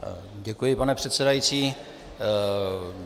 Děkuji, pane předsedající.